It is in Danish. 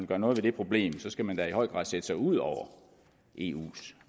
gøre noget ved det problem skal man da i høj grad sætte sig ud over eus